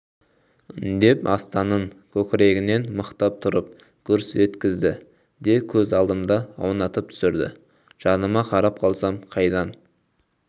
деп астанның көкірегінен мықтап тұрып гүрс еткізді де көз алдымда аунатып түсірді жаныма қарап қалсам қайдан